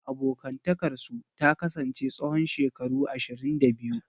Abokantakarsu ta kasance tsawon shekaru ashirin da biyu.